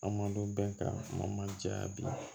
An man dɔn bɛɛ kan man diya bi